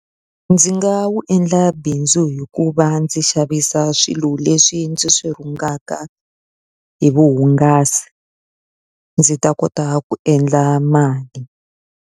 Ndzi nga wu endla bindzu hi ku va ndzi xavisa swilo leswi ndzi swi rhungiwaka hi vuhungasi, ndzi ta kota ku endla mali.